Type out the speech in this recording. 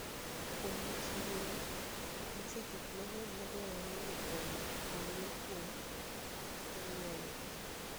Kuom wach ngima, nitie gik mang'eny madwarore ni ong'e kuom ong'weno.